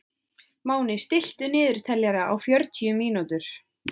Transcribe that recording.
Máni, stilltu niðurteljara á fjörutíu mínútur.